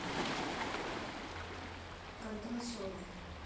кондрашовой